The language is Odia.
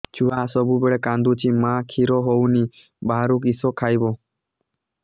ଛୁଆ ସବୁବେଳେ କାନ୍ଦୁଚି ମା ଖିର ହଉନି ବାହାରୁ କିଷ ଖାଇବ